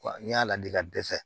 Wa n y'a ladi ka dɛsɛ